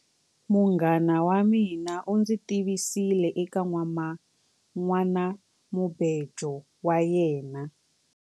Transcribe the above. Munghana wa mina u ndzi tivisile eka nhwanamubejo wa yena.